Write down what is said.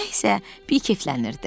Nə isə, bir keflənirdi.